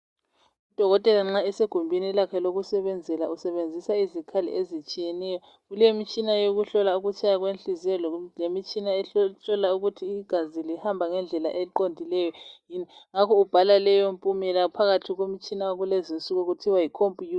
Udokotela nxa esegumbini lakhe lokusebenzela usebenzisa izikhali ezitshiyeneyo. Kulemitshina yokuhlola ukutshaya kwenhliziyo lemitshina ehlola ukuthi igazi lihamba ngendlela eqondileyo yini ngakho ubhala leyo mpumela phakathi komtshina wakulezinsuku okuthiwa yikhompiyutha.